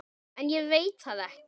En ég veit það ekki.